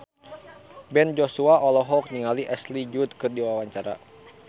Ben Joshua olohok ningali Ashley Judd keur diwawancara